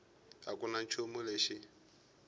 a ku na nchumu lexi